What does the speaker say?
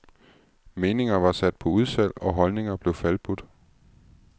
Meninger var sat på udsalg og holdninger blev falbudt.